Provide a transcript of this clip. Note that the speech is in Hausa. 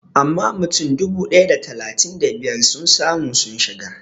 Amma mutum dubu ɗaya da talatin da biyar sun samu sun shiga